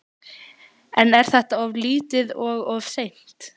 En er þetta of lítið og of seint?